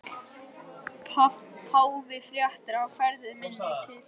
Páfi frétti af ferð minni til